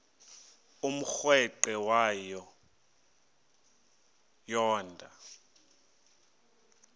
umrweqe wayo yoonda